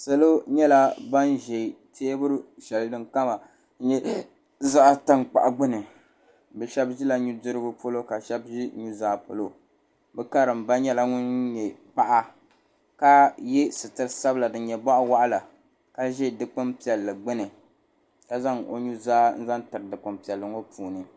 Salo nyɛla ban ʒɛ teebuli shɛli din kama nyɛ zaɣ piɛlli gbuni bi shab ʒila nudirigu polo ka shab ʒi nuzaa polo bi karimba nyɛla ŋun nyɛ paɣa ka yɛ sitiri sabila din nyɛ boɣa waɣala ka ʒɛ dikpuni piɛlli gbuni ka zaŋ o nuzaa n zaŋ tiri dikpuni piɛlli ŋo puuni